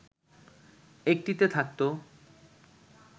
একটিতে থাকতো